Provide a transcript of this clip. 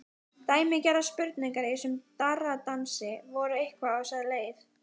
Dæmigerðar spurningar í þessum darraðardansi voru eitthvað á þessa leið